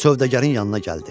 Sövdəgərin yanına gəldi.